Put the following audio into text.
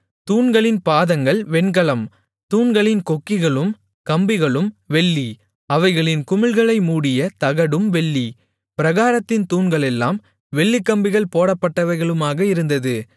தூண்களின் பாதங்கள் வெண்கலம் தூண்களின் கொக்கிகளும் கம்பிகளும் வெள்ளி அவைகளின் குமிழ்களை மூடிய தகடும் வெள்ளி பிராகாரத்தின் தூண்களெல்லாம் வெள்ளிக்கம்பிகள் போடப்பட்டவைகளுமாக இருந்தது